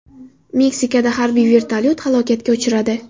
Meksikada harbiy vertolyot halokatga uchradi.